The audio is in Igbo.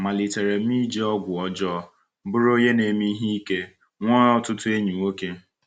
Malitere m iji ọgwụ ọjọọ, bụrụ onye na-eme ihe ike, nwee ọtụtụ enyi nwoke.